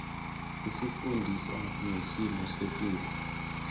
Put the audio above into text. isifundisa ngesimo setulu